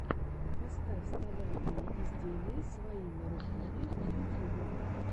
поставь столярные изделия своими руками в ютьюбе